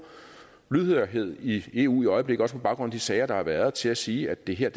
lydhørhed i eu i øjeblikket også på baggrund af de sager der har været til at sige at det her